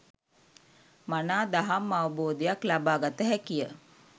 මනා දහම් අවබෝධයක් ලබා ගත හැකිය.